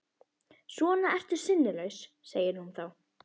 Svona ertu sinnulaus, segir hún þá.